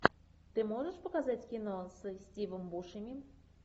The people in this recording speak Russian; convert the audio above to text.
ты можешь показать кино со стивом бушеми